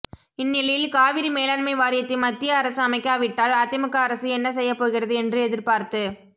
இந்நிலையில் காவிரி மேலாண்மை வாரியத்தை மத்திய அரசு அமைக்காவிட்டால் அதிமுக அரசு என்ன செய்யப்போகிறது என்று எதிர்பார்த்து